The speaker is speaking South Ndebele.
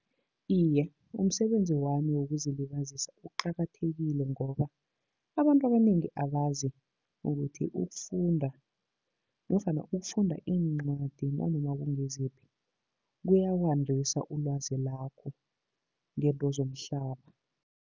Iye, umsebenzi wami wokuzilibazisa uqakathekile, ngoba abantu abanengi abazi ukuthi ukufunda nofana ukufunda iincwadi nanoma kungiziphi, kuya kwandisa ulwazi lakho ngezinto zomhlaba.